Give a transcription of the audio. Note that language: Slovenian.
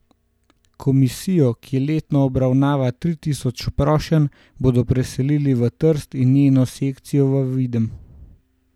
Komisijo, ki letno obravnava tri tisoč prošenj, bodo preselili v Trst in njeno sekcijo v Videm.